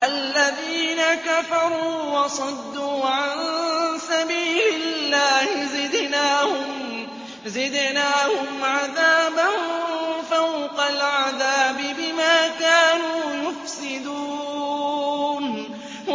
الَّذِينَ كَفَرُوا وَصَدُّوا عَن سَبِيلِ اللَّهِ زِدْنَاهُمْ عَذَابًا فَوْقَ الْعَذَابِ بِمَا كَانُوا يُفْسِدُونَ